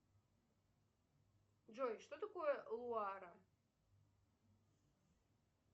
джой что такое луара